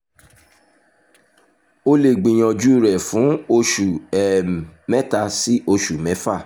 o lè gbìyànjú rẹ̀ fún oṣù um mẹ́ta sí oṣù mẹ́fà